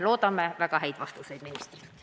Loodame ministrilt kuulda väga häid vastuseid.